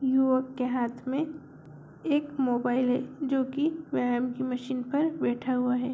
युवक के हाथ में एक मोबाइल है जो की व्यायाम की मशीन पर बैठा हुआ है।